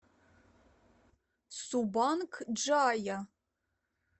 субанг джая